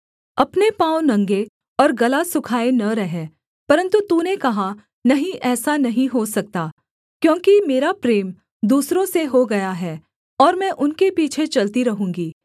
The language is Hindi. अपने पाँव नंगे और गला सुखाए न रह परन्तु तूने कहा नहीं ऐसा नहीं हो सकता क्योंकि मेरा प्रेम दूसरों से हो गया है और मैं उनके पीछे चलती रहूँगी